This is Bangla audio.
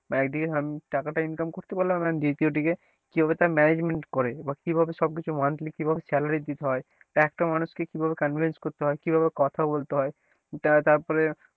বা একদিকে আমি টাকাটা income করতে পারলাম and দ্বিতীয় দিকে কিভাবে তারা management করে বা কিভাবে সবকিছু monthly কিভাবে salary দিতে হয় একটা মানুষ কে কীভাবে convince করতে হয় কিভাবে কথা বলতে হয় তার তারপরে,